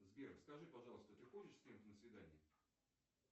сбер скажи пожалуйста ты ходишь с кем то на свидания